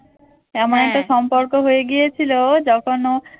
এমন একটা সম্পর্ক হয়ে গিয়েছিল যখন ও